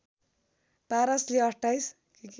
पारसले २८